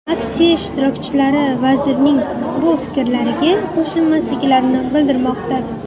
Aksiya ishtirokchilari vazirning bu fikrlariga qo‘shilmasliklarini bildirmoqda.